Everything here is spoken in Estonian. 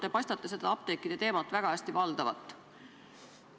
Te paistate apteekide teemat väga hästi valdavat.